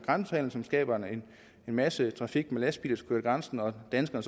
grænsehandel som skaber en masse trafik med lastbiler der kører over grænsen og danskerne